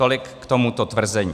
Tolik k tomuto tvrzení.